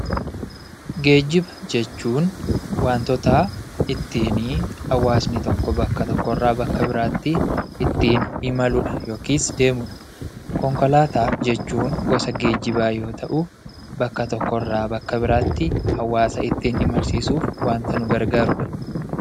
Geejjiba jechuun waantota ittiin hawaasni tokko bakka tokkorraa bakka biraatti ittiin imaludha yookiis deemudha. Konkolaataa jechuun gosa geejjibaa yoo ta'u, bakka tokkorraa bakka biraatti hawaasa ittiin imalsiisuuf waanta nu gargaarudha.